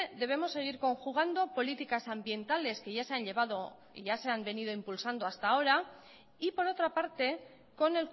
debemos seguir conjugando políticas ambientales que ya se han venido impulsando hasta ahora y por otra parte con